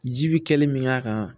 Ji bi kɛli min k'a kan